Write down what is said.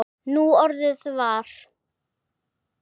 Núorðið var